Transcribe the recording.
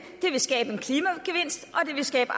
vil skabe